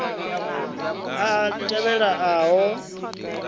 a a tevhela a ho